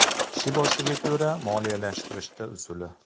Kishi boshiga ko‘ra moliyalashtirishda usuli.